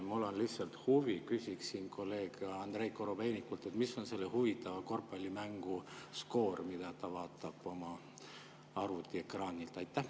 Mul on lihtsalt huvi ja küsiksin kolleeg Andrei Korobeinikult: mis on selle huvitava korvpallimängu skoor, mida ta vaatab oma arvuti ekraanilt?